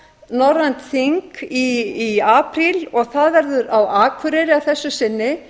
aukanorrænt þing í apríl og það verður á akureyri að þessu sinni